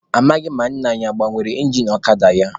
Amaghị m ma nna anyi ọ gbanwere ingin ọkada ya.